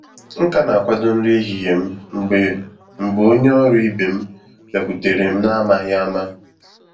Nkà na akwado nri ehihie m mgbe mgbe onye ọrụ ibe m bịakwutere m na amaghị ama.